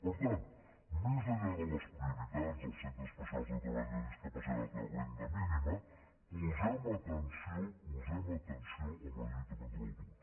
per tant més enllà de les prioritats dels centres especials de treball de discapacitat de renda mínima posem atenció posem atenció en la lluita contra l’atur